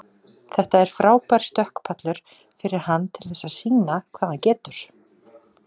Þetta er frábær stökkpallur fyrir hann til þess sýna hvað hann getur.